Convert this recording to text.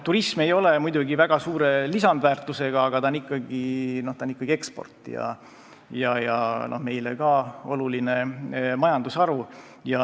Turism ei ole muidugi väga suure lisandväärtusega, aga ta tähendab ikkagi eksporti ja on meile oluline majandusharu.